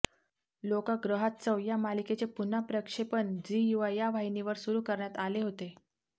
लोकाग्रहास्तव या मालिकेचे पुनःप्रक्षेपण झी युवा या वाहिनीवर सुरु करण्यात आले होते